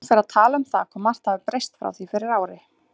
Hún fer að tala um það hvað margt hafi breyst frá því fyrir ári.